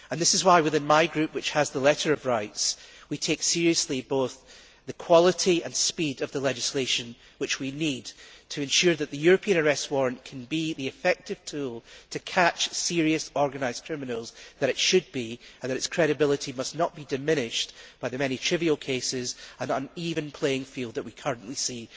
This is why within my group, which has the letter of rights, we take seriously both the quality and speed of the legislation which we need to ensure that the European Arrest Warrant can be the effective tool that it should be for catching serious, organised criminals, and that its credibility must not be diminished by the many trivial cases and uneven playing field that we currently see.